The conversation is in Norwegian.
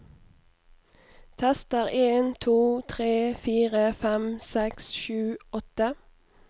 Tester en to tre fire fem seks sju åtte